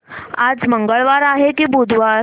आज मंगळवार आहे की बुधवार